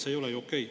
See ei ole ju okei.